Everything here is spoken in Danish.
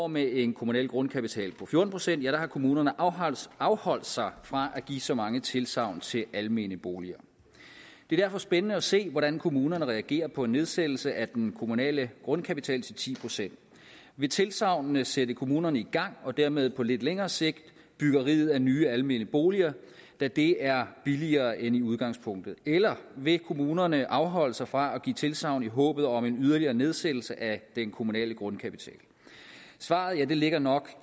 med en kommunal grundkapital på fjorten procent har kommunerne afholdt afholdt sig fra at give så mange tilsagn til almene boliger det er derfor spændende at se hvordan kommunerne reagerer på en nedsættelse af den kommunale grundkapital til ti procent vil tilsagnene sætte kommunerne i gang og dermed på lidt længere sigt byggeriet af nye almene boliger da det er billigere end i udgangspunktet eller vil kommunerne afholde sig fra at give tilsagn i håbet om en yderligere nedsættelse af den kommunale grundkapital svaret ligger nok